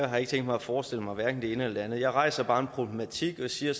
har ikke tænkt mig at forestille mig hverken det ene eller det andet jeg rejser bare en problematik og siger